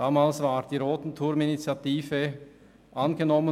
Damals wurde die «Rothenthurm-Initiative» angenommen.